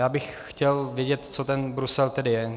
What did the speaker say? Já bych chtěl vědět, co ten Brusel tedy je.